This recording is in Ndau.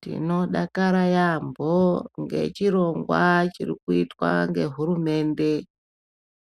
Tinodakara yaambo ngechirongwa chiri kuitwa ngehurumende